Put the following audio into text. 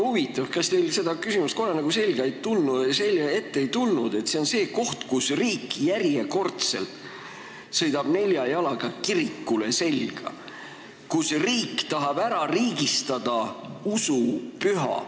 Huvitav, kas teil seda küsimust kordagi ette ei tulnud, et see on see koht, kus riik sõidab järjekordselt nelja jalaga kirikule selga ja tahab ära riigistada usupüha.